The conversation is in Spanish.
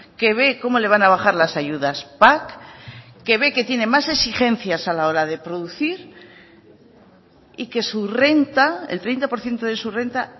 que ve cómo le van a bajar las ayudas pac que ve que tiene más exigencias a la hora de producir y que su renta el treinta por ciento de su renta